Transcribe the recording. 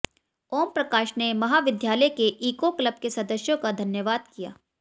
ओम प्रकाश ने महाविद्यालय के ईको क्लब के सदस्यों का धन्यवाद किया